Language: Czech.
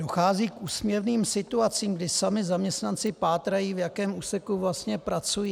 Dochází k úsměvným situacím, kdy sami zaměstnanci pátrají, v jakém úseku vlastně pracují.